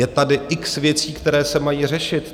Je tady x věcí, které se mají řešit.